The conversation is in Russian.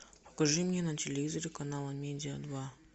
покажи мне на телевизоре канал амедиа два